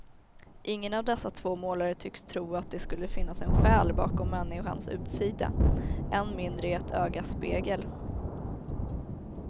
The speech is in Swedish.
Ingen av dessa två målare tycks tro att det skulle finnas en själ bakom människans utsida, än mindre i ett ögas spegel.